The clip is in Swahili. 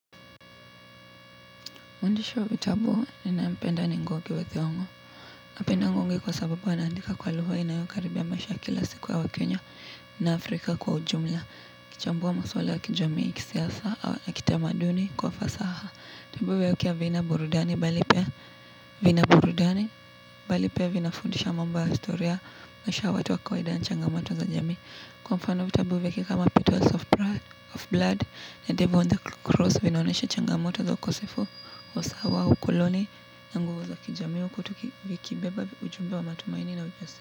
Mwandish wa vitabu ninaye mpenda ni ngugi wa thiongo. Napenda ngungi kwa sababu anaandika kwa lugha inayokaribia maisha ya siku ya waKenya na Afrika kwa ujumla. Kuchambua maswala ya kijamii kisiasa au na kitamaduni kwa fasaha. Tabuhu ya ukia vina burudani balipea vina burudani balipea vinafundisha mamba ya istoriaa. Nesha watu wa kwaida na changamato za jami. Kwa mfano vitabu vyake kama pitos of blood na devil on the cross vinaonesha changamoto za ukosefu usawa ukuloni Nanguwa za kijamiu kutuki vikibeba ujumbe wa matumaini na ujasi.